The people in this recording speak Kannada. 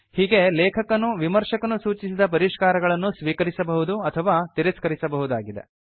ಹೀಗೆ ಲೇಖಕನು ವಿಮರ್ಶಕನು ಸೂಚಿಸಿದ ಪರಿಷ್ಕಾರಗಳನ್ನು ಸ್ವೀಕರಿಸಬಹುದು ಅಥವಾ ತಿರಸ್ಕರಿಸಬಹುದಾಗಿದೆ